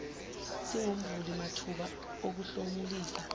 singumvuli mathuba okuhlomulisa